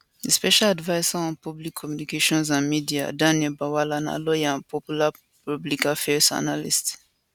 di special adviser on public communications and media daniel bwala na lawyer and popular public affairs analyst